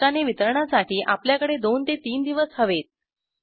पोस्टाने वितरणासाठी आपल्याकडे २ ३ दिवस हवेत